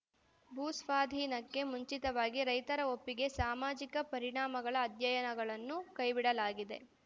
ಭೂಸ್ವಾಧೀನಕ್ಕೆ ಮುಂಚಿತವಾಗಿ ರೈತರ ಒಪ್ಪಿಗೆ ಸಾಮಾಜಿಕ ಪರಿಣಾಮಗಳ ಅಧ್ಯಯನಗಳನ್ನು ಕೈಬಿಡಲಾಗಿದೆ